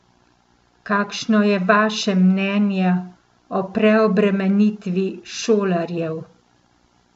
Kakšno je vaše mnenje o preobremenitvi šolarjev?